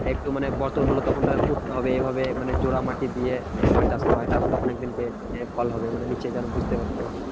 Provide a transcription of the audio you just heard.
একটু মানে হলো তখন তাকে পুঁততে হবে। মানে জোড়া মাটি দিয়ে এইভাবে চাষ করা হয়। তারপরে তখন একদিন কে এ কল হবে মানে নিচে যেন